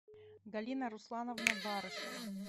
галина руслановна барышева